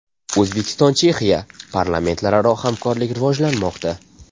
O‘zbekiston – Chexiya: parlamentlararo hamkorlik rivojlanmoqda.